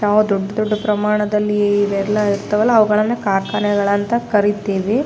ನಾವು ದೊಡ್ಡ ದೊಡ್ಡ ಪ್ರಮಾಣದಲ್ಲಿ ಇವೆಲ್ಲ ಇರ್ತಾವಲ್ಲ ಅವುಗಳನ್ನು ಕಾರ್ಖಾನೆಗಳಂತ ಕರೀತೀವಿ.